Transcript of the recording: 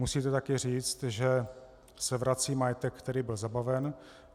Musíte taky říct, že se vrací majetek, který byl zabaven.